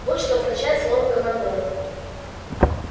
вот что означает слово командор